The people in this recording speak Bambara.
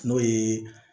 N'o ye